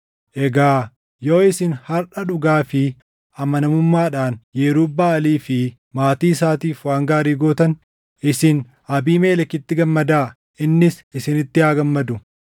egaa yoo isin harʼa dhugaa fi amanamummaadhaan Yerub-Baʼaalii fi maatii isaatiif waan gaarii gootan, isin Abiimelekitti gammadaa; innis isinitti haa gammadu!